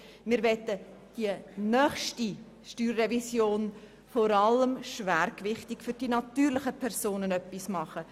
Wir möchten bei der nächsten StG-Revision den Schwerpunkt vor allem bei den natürlichen Personen setzen.